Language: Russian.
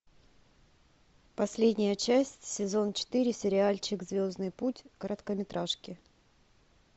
последняя часть сезон четыре сериальчик звездный путь короткометражки